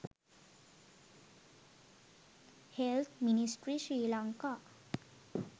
health ministry srilanka